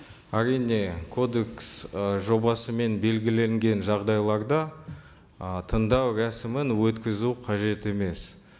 әрине кодекс ы жобасымен белгіленген жағдайларда ы тыңдау рәсімін өткізу қажет емес